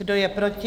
Kdo je proti?